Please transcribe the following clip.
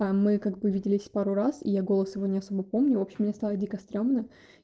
мы как бы виделись пару раз и я голос его не особо помню в общем мне стало дико стремно